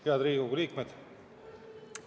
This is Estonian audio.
Head Riigikogu liikmed!